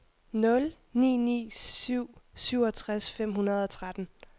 nul ni ni syv syvogtres fem hundrede og tretten